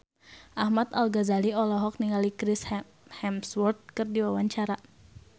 Ahmad Al-Ghazali olohok ningali Chris Hemsworth keur diwawancara